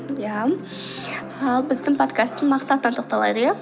иә ал біздің подкасттың мақсатына тоқталайық иә